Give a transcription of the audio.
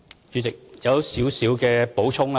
主席，我有少許補充。